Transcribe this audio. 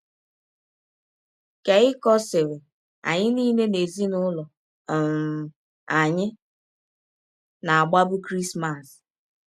Keikọ sịrị: “ Anyị niile n’ezinụlọ um anyị na - agbabụ Krismas.